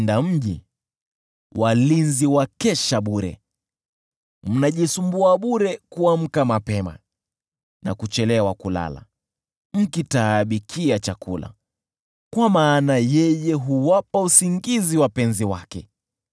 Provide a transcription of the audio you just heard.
Mnajisumbua bure kuamka mapema na kuchelewa kulala, mkitaabikia chakula: kwa maana yeye huwapa usingizi wapenzi wake.